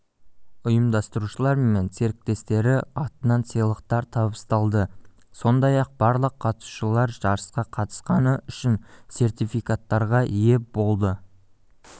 ұйымдастырушылары мен серіктестері атынан сыйлықтар табысталды сондай-ақ барлық қатысушылар жарысқа қатысқаны үшін сертификаттарға ие болды